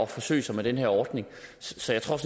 forsøge sig med den her ordning så jeg tror